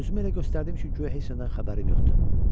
Özümü elə göstərdim ki, guya heç nədən xəbərim yoxdur.